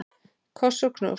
Koss og knús.